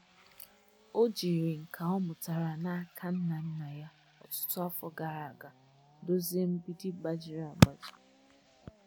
O jiri nka ọ mụtara na aka nna nna ya ọtụtụ afọ gara aga dozie mgbidi gbajiri agbaji